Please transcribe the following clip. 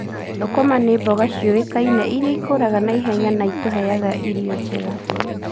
Thũkũma nĩ mboga cioĩkaine irĩa ikũraga naihenya na itũheaga irio njega.